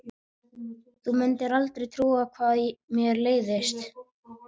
Þú mundir aldrei trúa hvað mér leiðist.